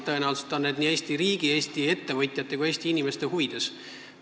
Tõenäoliselt need ongi nii Eesti riigi, Eesti ettevõtjate kui Eesti inimeste huvides.